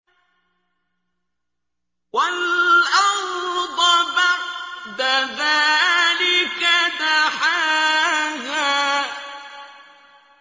وَالْأَرْضَ بَعْدَ ذَٰلِكَ دَحَاهَا